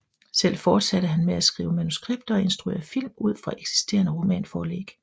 Selv fortsatte han med at skrive manuskripter og instruere film ud fra eksisterende romanforlæg